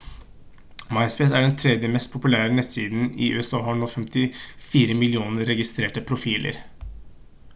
myspace er den 3. mest populære nettsiden i usa og har nå 54 millioner registrerte profiler